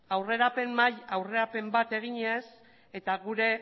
aurrerapen bat eginez eta